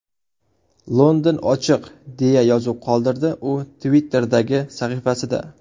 London ochiq”, deya yozuv qoldirdi u Twitter’dagi sahifasida.